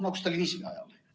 Nagu stalinismi ajal.